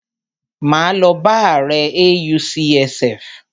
Máa lọ bá ààrẹ AUCSF.